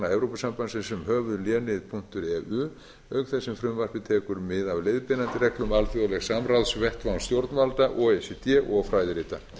evrópusambandsins um höfuðlénið eu auk þess sem frumvarpið tekur mið af leiðbeinandi reglum alþjóðlegs samráðsvettvangs stjórnvalda o e c d og fræðirita